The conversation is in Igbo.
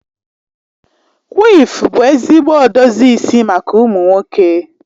Quiff bụ ezigbo edozi isi maka ụmụ nwoke.